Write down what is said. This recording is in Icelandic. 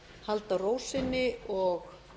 halda ró sinni og